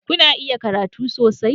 Kuna iya karatu sosai?